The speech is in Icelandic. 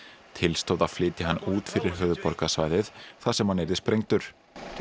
til stóð að flytja hann út fyrir höfuðborgarsvæðið þar sem hann yrði sprengdur